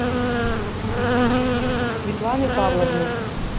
светланы павловны